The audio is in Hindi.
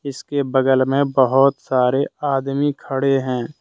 इसके बगल में बहोत सारे आदमी खड़े हैं।